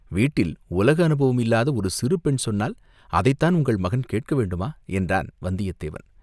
வீட்டில் உலக அனுபவம் இல்லாத ஒரு சிறு பெண் சொன்னால், அதைத்தான் உங்கள் மகன் கேட்க வேண்டுமா?" என்றான் வந்தியத்தேவன்.